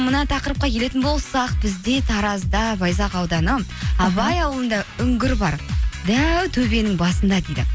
мына тақырыпқа келетін болсақ бізде таразда байзақ ауданы абай ауылында үңгір бар дәу төбенің басында дейді